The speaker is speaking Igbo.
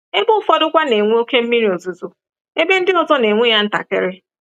Ebe ụfọdụkwa na-enwe oke mmiri ozuzo, ebe ndị ọzọ na-enwe ya ntakịrị.